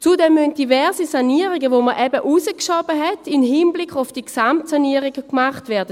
Zudem müssen diverse Sanierungen, die man eben im Hinblick auf die Gesamtsanierung hinausgeschoben hat, gemacht werden.